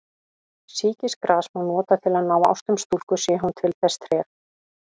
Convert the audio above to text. Sýkisgras má nota til að ná ástum stúlku sé hún til þess treg.